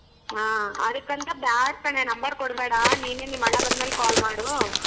ಹಾ ಅದಿಕ್ಕಂತಾ ಬ್ಯಾಡ್ ಕಣೆ number ಕೊಡಬೇಡಾ ನೀನೆ ನಿಮ್ ಅಣ್ಣ ಬಂದ್ ಮೇಲೆ call ಮಾಡೂ.